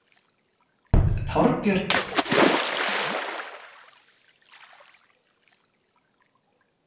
Þorbjörn Þórðarson: Friðrik, veistu eitthvað Jón ætlar að spjalla við ykkur um hérna?